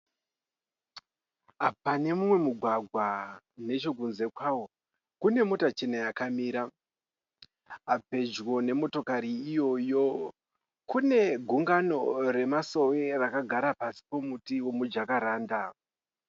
Pane mumwe mugwagwa. Nechekunze kwawo kune mota chena yakamira. Pedyo nemotokari iyoyo kune gungano remasowe rakagara pasi pomuti womujakaranda.